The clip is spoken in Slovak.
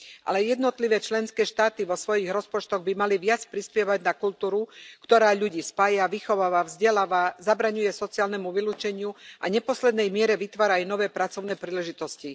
Ale aj jednotlivé členské štáty vo svojich rozpočtoch by mali viac prispievať na kultúru, ktorá ľudí spája, vychováva, vzdeláva, zabraňuje sociálnemu vylúčeniu a v neposlednej miere vytvára aj nové pracovné príležitosti.